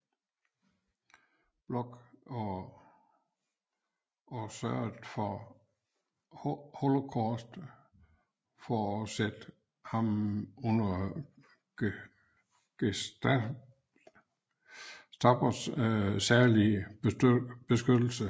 Bloch og sørgede under holocaust for at sætte ham under Gestapos særlige beskyttelse